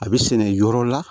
A bɛ sɛnɛ yɔrɔ la